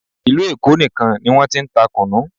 Ìlú Èkó nìkan ni wọ́n ti ń ta kùnnú